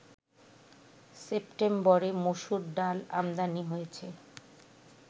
সেপ্টেম্বরে মসুর ডাল আমদানি হয়েছে